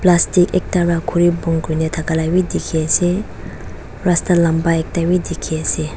plastic ekta pra khuri bon kurina thaka la bi dikhiase rasta lamba bi dikhiase.